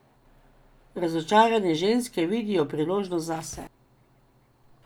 Razočarane ženske vidijo priložnost zase.